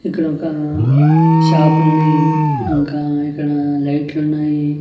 ఇక్కడ ఒక షాప్ ఉంది ఇంకా ఇక్కడ లైట్లు ఉన్నాయి.